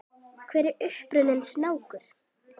Hver er uppruni snáka?